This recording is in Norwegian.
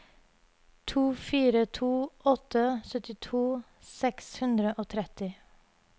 to fire to åtte syttito seks hundre og tretti